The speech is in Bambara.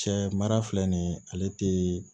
Cɛ mara filɛ nin ye ale tɛ